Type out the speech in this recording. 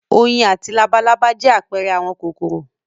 Oyin àti labalábá jẹ́ àpẹẹrẹ àwọn kòkòrò.